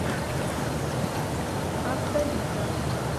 автовита